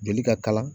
Joli ka kala